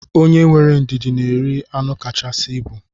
Onye were ndidi na eri anụ kachasị ibu.